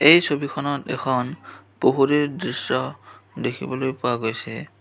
এই ছবিখনত এখন পুখুৰীৰ দৃশ্য দেখিবলৈ পোৱা গৈছে।